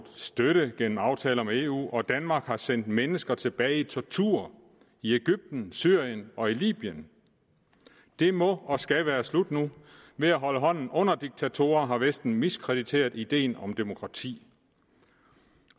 støtte gennem aftaler med eu og danmark har sendt mennesker tilbage til tortur i egypten syrien og libyen det må og skal være slut nu ved at holde hånden under diktatorer har vesten miskrediteret ideen om demokrati